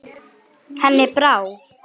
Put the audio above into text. Henni brá.